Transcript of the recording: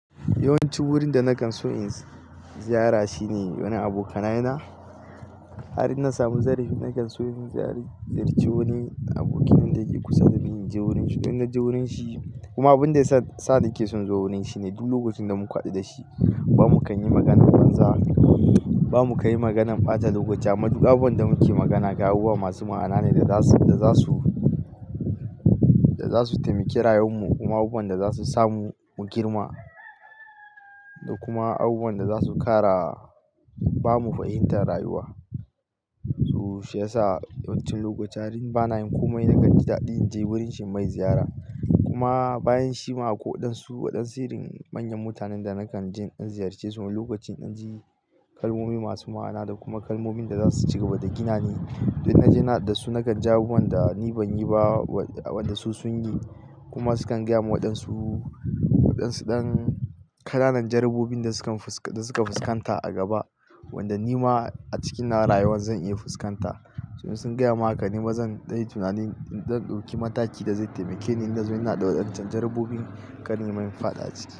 Yawanci wurin da nakan so in ziyara shine wani abokanai na. Har in na samu zarafi nakan so in ziyarci wani aboki na dake kusa da ni, in je wurin shi. Kuma abin da yasa sake son zuwa wurin shi ne, duk lokacin da muku haɗu da shi ba mu kan yi maganar banza. Ba mu kan yi maganar ɓata lokaci ba, amma duk abin da muke magana ga abubuwa masu ma'ana ne da zasu da zasu taimaki rayuwar mu, kuma abubuwan da zasu samu mu girma. Da kuma abubuwan da zasu ƙara bamu fahimtar rayuwa. So shi yasa wasu lokuta har in bana yin komai nakan ji daɗi in je wurin shi mai ziyara. Kuma bayan shi ma a kwai waɗansu irin manyan mutanen da nakan je in ziyarce su lokacin in ji kalmomi masu ma'ana da kuma kalmomin da zasu cigaba da ginane. Idan naje na haɗu da su nakan ji abubuwan da ni ban yi ba wanda su sun yi. Kuma su kan gaya waɗansu ɗan ƙananan jarububin da suka fuskanta a gaba wanda ni ma a cikina rayuwa zan iya fuskanta. Su ma sun gaya maka ni bazan dai tunani zan ɗauki mataki da zai taimake ni in nazo ina da waɗancan jarabobin kar nima in faɗa ci.